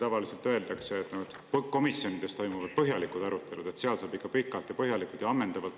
Tavaliselt öeldakse, et komisjonides toimuvad põhjalikud arutelud, et seal saab asju arutada ikka pikalt ja põhjalikult ja ammendavalt.